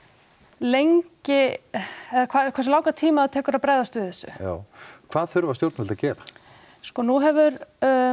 lengi eða hversu langan tíma það tekur að bregðast við þessu já hvað þurfa stjórnvöld að gera sko nú hefur